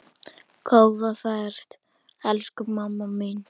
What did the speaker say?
Góða ferð, elsku mamma mín.